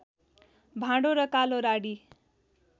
भाँडो र कालो राडी